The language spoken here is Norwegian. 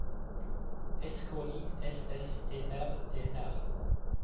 S K I S S E R E R